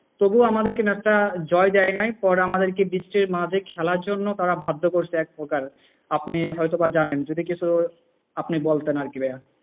তবুও আমাদের কেন একটা জয় দেয় নাই। পরে আমাদের কে বৃষ্টির মধ্যে খেলার জন্য বাধ্য করেছে এক প্রকারে। আপনি হয়তো বা জানেন, যদি কিছু আপনি বলতেন আরকি ভাইয়া।